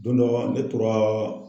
Don dɔ la ne tora